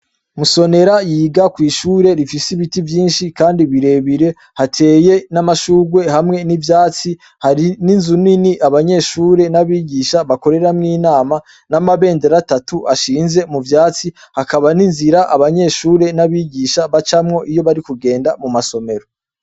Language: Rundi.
Musonera yiga kw'ishure rifise ibiti vyinshi kandi birebire hateye n'amashurwe hamwe n'ivyatsi hari n'inzu nini abanyeshure n'abigisha bakoreramwo inama n'amabendera atatu ashinze mu vyatsi hakaba n'inzira abanyeshure n'abigisha bacamwo iyo bari kugenda mu masomero.